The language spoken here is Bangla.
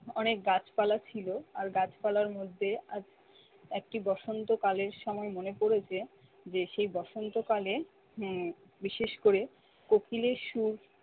অনেক গাছপালা ছিল আর গাছপালার মধ্যে আজ একটি বসন্তকালের সময় মনে পড়েছে, যে সেই বসন্তকালে উম বিশেষ করে কোকিলের সুর